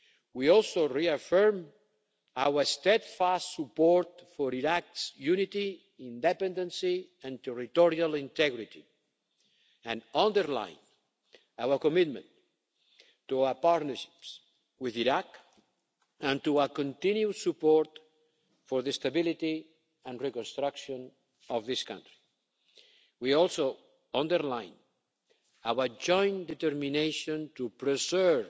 We also reaffirmed our steadfast support for Iraq's unity, independence and territorial integrity, and underlined our commitment to our partnerships with Iraq and to our continued support for the stability and reconstruction of this country. We also underlined our joint determination to